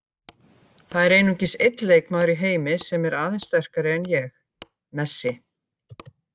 Það er einungis einn leikmaður í heimi sem er aðeins sterkari en ég- Messi.